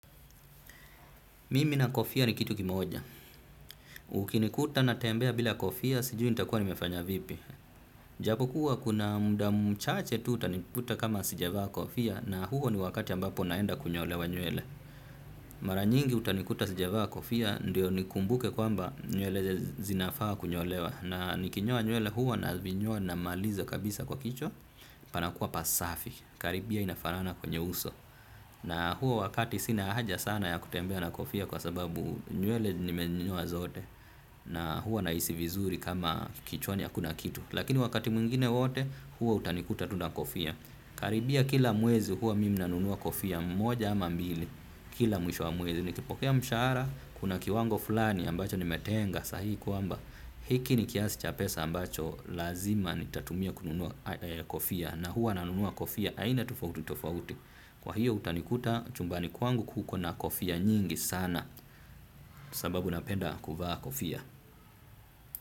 Mimi na kofia ni kitu kimoja. Ukinikuta na tembea bila kofia, sijui nitakuwa nimefanya vipi. Japo kua kuna muda mchache tu utanikuta kama sijavaa kofia na huo ni wakati ambapo naenda kunyolewa nywele. Maranyingi utanikuta sijivaa kofia ndio nikumbuke kwamba nywele zinafaa kunyolewa. Na nikinyoa nywele hua nazinyoa namaliza kabisa kwa kichwa, panakuwa pasafi. Karibia inafanana kwenye uso. Na huo wakati sina haja sana ya kutembea na kofia kwasababu nywele nimenyoa zote na hua nahisi vizuri kama kichwani hakuna kitu lakini wakati mwingine wote huwa utanikuta tu na kofia. Karibia kila mwezi huwa nanua mimi kofia moja au mbili kila mwisho wa mwezi nikipokea mshahara kuna kiwango fulani ambacho nimetenga sahihi kwamba hiki ni kiasi cha pesa ambacho lazima nitatumia kununua kofia na huwa nanunua kofia aina tofauti tofauti kwahiyo utanikuta chumbani kwangu kuko na kofia nyingi sana sababu napenda kuvaa kofia.